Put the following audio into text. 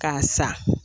K'a sa